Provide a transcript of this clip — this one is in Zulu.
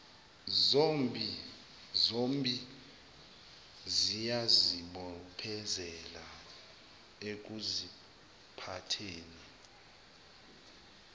zombi ziyazibophezela ekuziphatheni